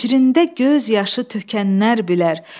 Hicrində göz yaşı tökənlər bilər.